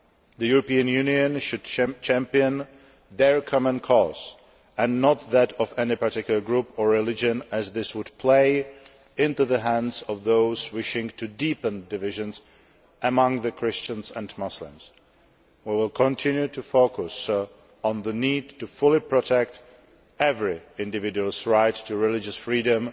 The European Union should champion their common cause and not that of any particular group or religion, as this would play into the hands of those wishing to deepen divisions among Christians and Muslims. We will continue to focus on the need to fully protect every individual's right to religious freedom